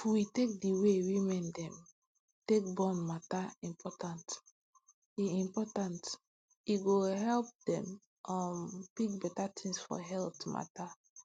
if we take d way women dem take born matter important e important e go help dem um pick beta tins for health matter